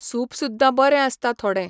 Soup सुद्दां बरें आसता थोडे.